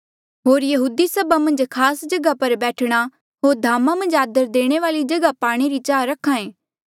होर यहूदी सभा मन्झ खास जगहा पर बैठणा होर धामा मन्झ खास जगहा पाणे री चाह रख्हा ऐें